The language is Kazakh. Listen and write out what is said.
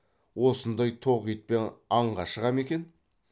осындай тоқ итпен аңға шыға ма екен